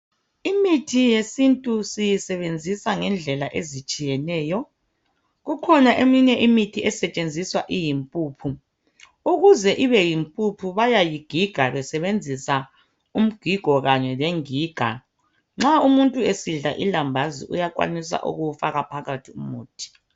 Imithi yesintu siyisebenzisa ngendlela ezihlukeneyo kukhona eminye imithi esetshenziswa iyimpuphu ukuze ibe yimpuphu bayayigiga besebenzisa umgigo kanye lengiga nxa umuntu esidla ilambazi uyakwanisa ukuwu faka phakathi umuthi